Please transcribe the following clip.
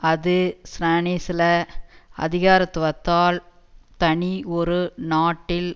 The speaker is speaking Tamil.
அது ஸ்ரானிசில அதிகாரத்துவத்தால் தனி ஒரு நாட்டில்